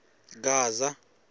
gaza